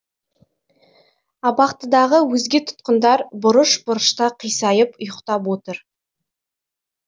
абақтыдағы өзге тұтқындар бұрыш бұрышта қисайып ұйықтап отыр